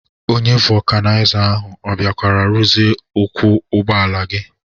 Onye vọkanaịza ahụ ọ bịakwara ruzie ụkwụ ụgbọala gi?